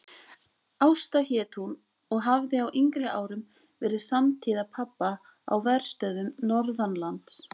Ásta hét hún og hafði á yngri árum verið samtíða pabba á verstöðvum norðanlands.